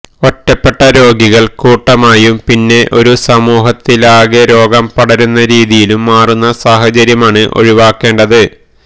ഒറ്റപ്പെട്ട രോഗികൾ കൂട്ടമായും പിന്നെ ഒരു സമൂഹത്തിലാകെ രോഗം പടരുന്ന രീതിയിലും മാറുന്ന സാഹചര്യമാണ് ഒഴിവാക്കേണ്ടത്